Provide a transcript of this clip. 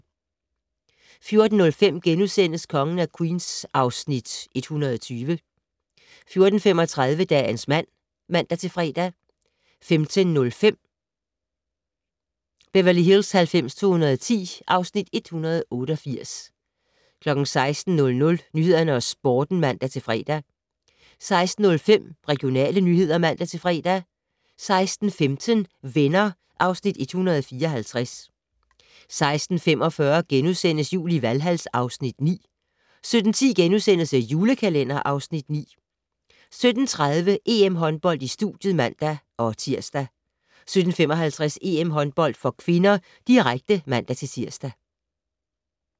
14:05: Kongen af Queens (Afs. 120)* 14:35: Dagens mand (man-fre) 15:05: Beverly Hills 90210 (Afs. 188) 16:00: Nyhederne og Sporten *(man-fre) 16:05: Regionale nyheder (man-fre) 16:15: Venner (Afs. 154) 16:45: Jul i Valhal (Afs. 9)* 17:10: The Julekalender (Afs. 9)* 17:30: EM-håndbold: Studiet (man-tir) 17:55: EM-håndbold (k), direkte (man-tir)